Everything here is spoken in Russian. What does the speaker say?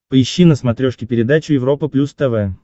поищи на смотрешке передачу европа плюс тв